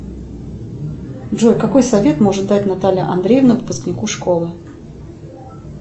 джой какой совет может дать наталья андреевна выпускнику школы